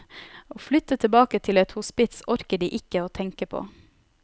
Å flytte tilbake til et hospits orker de ikke å tenke på.